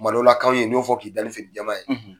kuma dɔw la kanw ye n'i y'o fɔ k'i da ni fini jƐma ye,